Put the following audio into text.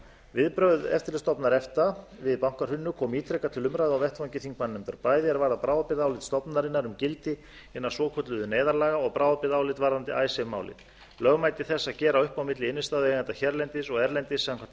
viðbrögð eftirlitsstofnunar efta við bankahruninu komu ítrekað til umræðu á vettvangi þingmannanefndarinnar bæði er varða bráðabirgðaálit stofnunarinnar um gildi hinna svokölluðu neyðarlaga og bráðabirgðaálit varðandi icesave málið lögmæti þess að gera upp á milli innstæðueigenda hérlendis og erlendis samkvæmt e e s